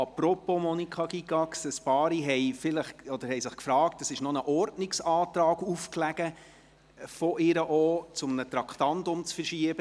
Apropos Monika Gygax: Ein paar Ratsmitglieder haben sich gefragt, weil noch ein Ordnungsantrag von Grossrätin Gygax aufgelegen hat, um ein Traktandum zu verschieben.